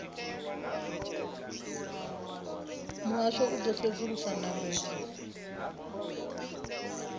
muhasho u ḓo sedzulusa ndambedzo